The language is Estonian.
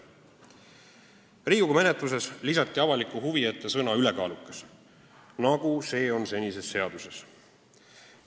" Riigikogu menetluses lisati avaliku huvi ette sõna "ülekaalukas", nagu see on senises seaduses.